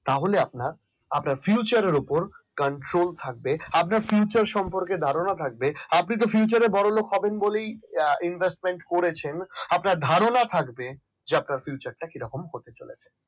তাহলে আপনার আপনার future এর উপর cancel থাকবে আপনার ফিউচার সম্পর্কে ধারণা থাকবে আপনি future বড়লোক হবেন বলেই আহ তো investment করেছেন। না ধারণা থাকবে কিরকম হতে চলেছে